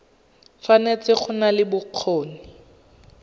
tshwanetse go nna le bokgoni